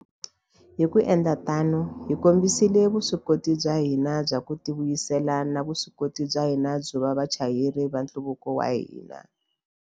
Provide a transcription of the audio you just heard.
Hi ku endla tano, hi kombisile vuswikoti bya hina bya ku tivuyisela na vuswikoti bya hina byo va vachayeri va nhluvuko wa hina.